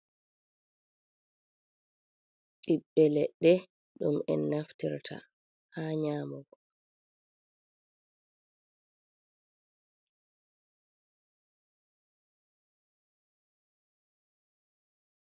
Ɓiɓɓe leɗɗe, ɗum en naftirta haa nyamugo